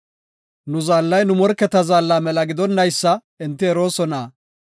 Nu Zaallay nu morketa zaalla mela gidonnaysa enti eroosona.